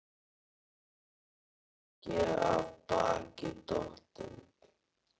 Hann er ekki af baki dottinn.